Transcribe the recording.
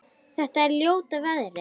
Þetta er ljóta veðrið?